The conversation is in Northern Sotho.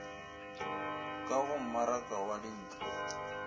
ka go mmaraka wa dintlo